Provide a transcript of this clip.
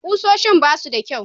Ƙusoshin ba su da kyau.